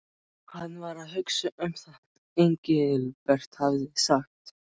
Hann var að hugsa um það sem Engilbert hafði sagt.